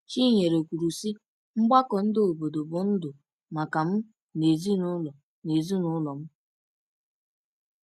Chinyere kwuru, sị: “Mgbakọ ndị obodo bụ ndụ maka m na ezinụlọ ezinụlọ m.”